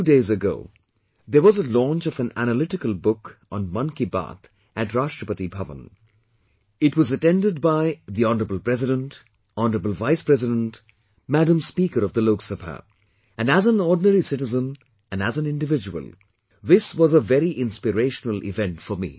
Two days ago there was a launch of an analytical book on 'Mann Ki Baat' at Rashtrapati Bhavan, it was attended by the Hon'ble President, Hon'ble Vice President , Madam Speaker of the Lok sabha and as an ordinary citizen and as an individual this was very inspirational event for me